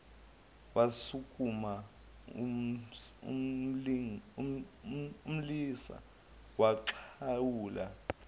wasukuma umlisa waxhawula